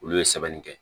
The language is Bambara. Olu ye sɛbɛnni kɛ